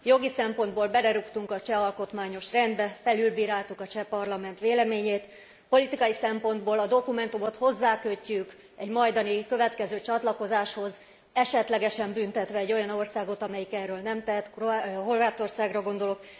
Jogi szempontból belerúgtunk a cseh alkotmányos rendbe, felülbíráltuk a cseh parlament véleményét, politikai szempontból a dokumentumot hozzákötjük egy majdani következő csatlakozáshoz, esetlegesen büntetve egy olyan országot, amelyik erről nem tehet Horvátországra gondolok.